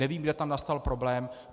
Nevím, kde tam nastal problém.